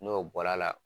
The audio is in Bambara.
N'o bɔra la